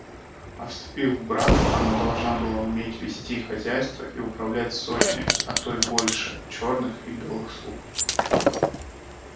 а вступив в брак она должна была уметь вести хозяйство и управляться сотней а то и больше черных и белых слуг